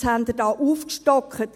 Jetzt haben Sie da aufgestockt.